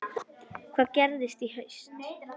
Hvað gerist í haust?